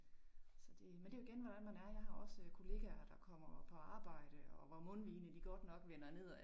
Så det. Men det jo igen hvordan man er jeg har også kollegaer, der kommer på arbejde og hvor mundvigerne de godt nok vender nedad